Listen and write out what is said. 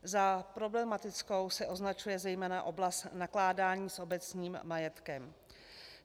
Za problematickou se označuje zejména oblast nakládání s obecním majetkem.